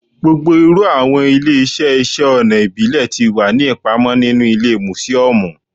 Gbogbo iru awọn ile-iṣẹ iṣẹ ọna ibile ti wa ni ipamọ ninu ile musiọmu